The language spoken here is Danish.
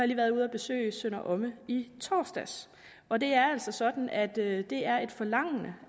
lige været ude at besøge sønder omme i torsdags og det er altså sådan at det det er et forlangende